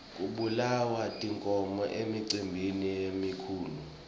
kubulawa tinkhomo emicimbini lemikhulu